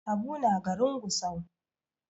Habu na garin Gusau.